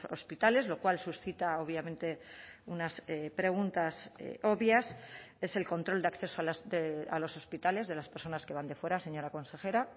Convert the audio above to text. hospitales lo cual suscita obviamente unas preguntas obvias es el control de acceso a los hospitales de las personas que van de fuera señora consejera